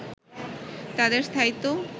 তাদের স্থায়িত্ব